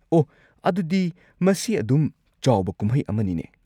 ꯑꯣꯍ, ꯑꯗꯨꯗꯤ ꯃꯁꯤ ꯑꯗꯨꯝ ꯆꯥꯎꯕ ꯀꯨꯝꯍꯩ ꯑꯃꯅꯤꯅꯦ꯫